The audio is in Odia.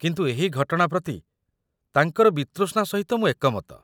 କିନ୍ତୁ ଏହି ଘଟଣା ପ୍ରତି ତାଙ୍କର ବିତୃଷ୍ଣା ସହିତ ମୁଁ ଏକମତ